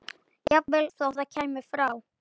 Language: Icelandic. Jafnvel þó það kæmi frá